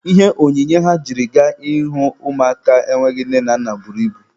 Ihe onyinye ha jiri gaa ịhụ ụmụaka enweghị nne na nna buru ibu.